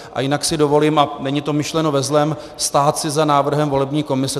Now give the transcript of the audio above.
A jinak si dovolím, a není to myšleno ve zlém, stát si za návrhem volební komise.